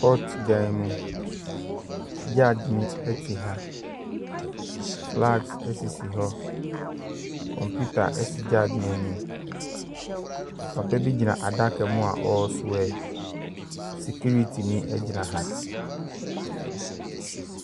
Ɔte dan mu. Judge no te ha. Flags sisi hɔ. Kɔmputa si judge bo anim. Papa bi gyina adaka mu a ɔreswɛ. Sikiritini gyina ha.